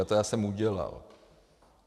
A to já jsem udělal.